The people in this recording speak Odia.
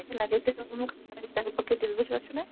ତତେ ମୁଁ ବୁଝିପାରୁଛୁ ନା?